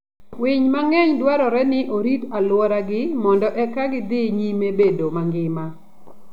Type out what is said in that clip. Winy mang'eny dwarore ni orit aluora gi mondo eka gidhi nyime bedo mangima.